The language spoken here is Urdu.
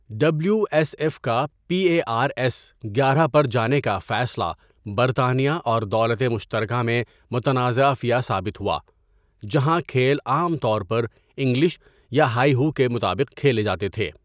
ڈبلیو ایس ایف کا پی اے آر ایس گیارہ پر جانے کا فیصلہ برطانیہ اور دولت مشترکہ میں متنازعہ فیہ ثابت ہوا جہاں کھیل عام طور پر انگلش یا ہائی ہو کے مطابق کھیلے جاتے تھے.